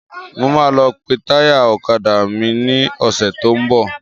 Mo máa lọ pe táyà ọ̀kadà mi ní ọ̀sẹ́ tó ń bọ̀.